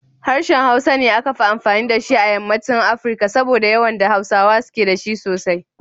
Harshen Hausa ne akafi amfani da shi a yammaci Afirika. saboda yawan da Hausawa suke da shi sosai.